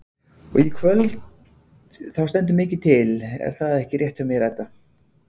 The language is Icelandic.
Og í kvöld þá stendur mikið til er það ekki rétt hjá mér Edda?